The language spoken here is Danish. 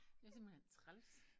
Det er simpelthen træls